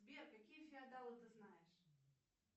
сбер какие феодалы ты знаешь